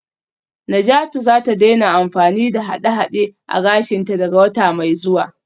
Najatu za ta daina amfani da haɗe-haɗe a gashinta daga wata mai zuwa